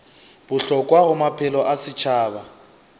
bohlokwa go maphelo a setšhaba